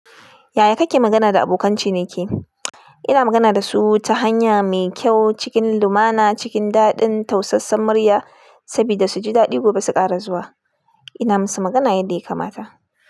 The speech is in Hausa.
Yaya kake magana da abokan ciniki? Ina magana da su ta hanya mai kyau, cikin lumana, cikin daɗin, tausassan murya sabida su ji daɗi gobe su ƙara zuwa. Ina musu magana yadda ya kamata.